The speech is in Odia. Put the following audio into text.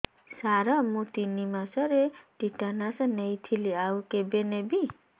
ସାର ମୁ ତିନି ମାସରେ ଟିଟାନସ ନେଇଥିଲି ଆଉ କେବେ ନେବି